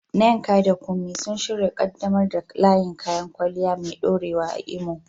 Nneka da Kunmi sun shirya ƙaddamar da layin kayan kwalliya mai ɗorewa a Imo